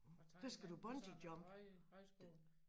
Og Thailand på sådan en høj højskole